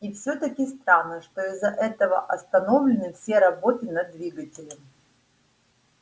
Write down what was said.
и всё-таки странно что из-за этого остановлены все работы над двигателем